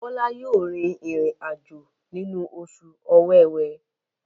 Bola yóò rìn irin-ajo nínú Oṣù Ọ̀wẹwẹ.